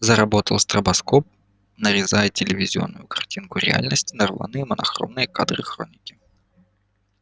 заработал стробоскоп нарезая телевизионную картинку реальности на рваные монохромные кадры хроники